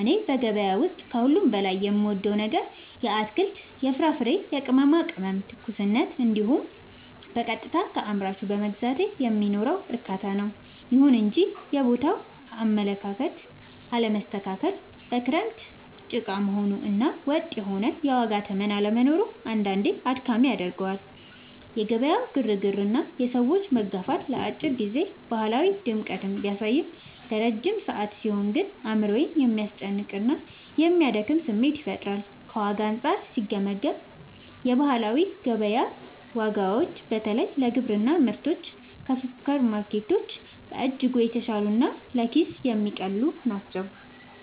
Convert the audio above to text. እኔ በገበያ ውስጥ ከሁሉ በላይ የምወደው ነገር የአትክልት፣ የፍራፍሬና የቅመማ ቅመሞችን ትኩስነት እንዲሁም በቀጥታ ከአምራቹ በመግዛቴ የሚኖረውን እርካታ ነው። ይሁን እንጂ የቦታው አለመስተካከል፣ በክረምት ጭቃ መሆኑ እና ወጥ የሆነ የዋጋ ተመን አለመኖሩ አንዳንዴ አድካሚ ያደርገዋል። የገበያው ግርግርና የሰዎች መጋፋት ለአጭር ጊዜ ባህላዊ ድምቀትን ቢያሳይም፣ ለረጅም ሰዓት ሲሆን ግን አእምሮን የሚያስጨንቅና የሚያደክም ስሜት ይፈጥራል። ከዋጋ አንጻር ሲገመገም፣ የባህላዊ ገበያ ዋጋዎች በተለይ ለግብርና ምርቶች ከሱፐርማርኬቶች በእጅጉ የተሻሉና ለኪስ የሚቀልሉ ናቸው።